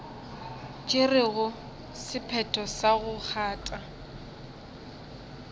tšerego sephetho sa go kgatha